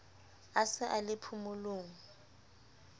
a se a le phomolong